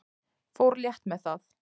Fór létt með það.